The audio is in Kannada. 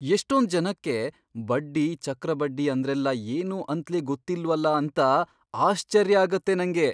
ಎಷ್ಟೊಂದ್ ಜನಕ್ಕೆ ಬಡ್ಡಿ, ಚಕ್ರ ಬಡ್ಡಿ ಅಂದ್ರೆಲ್ಲ ಏನೂ ಅಂತ್ಲೇ ಗೊತ್ತಿಲ್ವಲ ಅಂತ ಆಶ್ಚರ್ಯ ಆಗತ್ತೆ ನಂಗೆ.